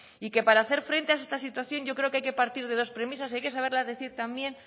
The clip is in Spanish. y que para hacer frente a esta situación yo creo que hay que partir de dos premisas y hay que saberlas decir también